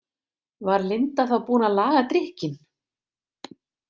Var Linda þá búin að laga drykkinn?